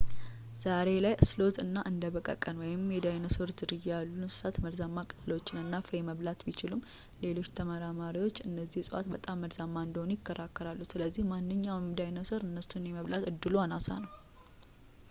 ዛሬ ላይ ስሎዝ እና እንደ በቀቀን የዳይኖሰሮች ዝርያ ያሉ እንሰሳት መርዛማ ቅጠሎችን እና ፍሬ መብላት ቢችሉም፣ ሌሎች ተመራማሪዎች እነዚህ እፅዋት በጣም መርዛማ እንደሆኑ ይከራከራሉ ስለዚህ ማንኛውም ዳይኖሰር እነሱን የመብላት ዕድሉ አናሳ ነው